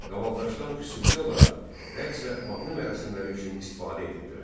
Qavaldaşdan xüsusi olaraq rəqs və mahnı mərasimləri üçün istifadə edirdilər.